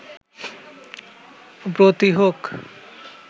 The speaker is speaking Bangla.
ব্রতী হোক